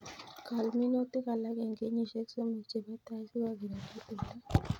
Kol minutik alak eng kenyishek somok chebo tai si kokirinda timdo